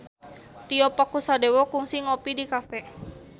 Tio Pakusadewo kungsi ngopi di cafe